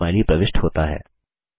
smiley प्रविष्ट होता है